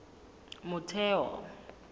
motheo